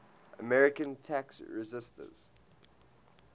american tax resisters